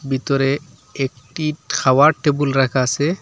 ভিতরে একটি খাওয়ার টেবুল রাখা আছে।